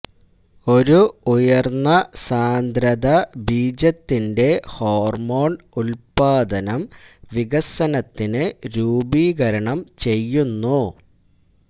ഒരു ഉയർന്ന സാന്ദ്രത ബീജത്തിന്റെ ഹോർമോൺ ഉത്പാദനം വികസനത്തിന് രൂപീകരണം ചെയ്യുന്നു